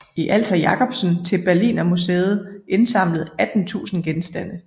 I alt har Jacobsen til Berlinermuseet indsamlet 18000 genstande